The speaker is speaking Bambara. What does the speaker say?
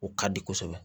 O ka di kosɛbɛ